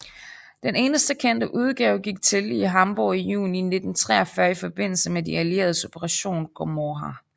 Den eneste kendte udgave gik til i Hamborg i juni 1943 i forbindelse med de allieredes Operation Gomorrha